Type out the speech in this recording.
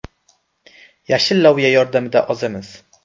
Yashil loviya yordamida ozamiz.